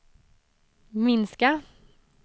minska